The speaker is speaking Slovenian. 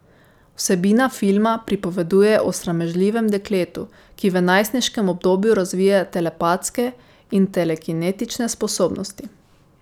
Vsebina filma pripoveduje o sramežljivem dekletu, ki v najstniškem obdobju razvije telepatske in telekinetične sposobnosti.